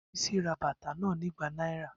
Bisi ra bata na ni igba naira.